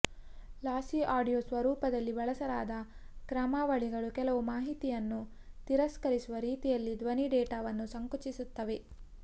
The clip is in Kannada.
ಲಾಸಿ ಆಡಿಯೊ ಸ್ವರೂಪದಲ್ಲಿ ಬಳಸಲಾದ ಕ್ರಮಾವಳಿಗಳು ಕೆಲವು ಮಾಹಿತಿಯನ್ನು ತಿರಸ್ಕರಿಸುವ ರೀತಿಯಲ್ಲಿ ಧ್ವನಿ ಡೇಟಾವನ್ನು ಸಂಕುಚಿಸುತ್ತವೆ